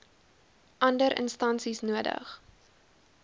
ander instansies nodig